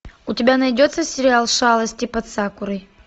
у тебя найдется сериал шалости под сакурой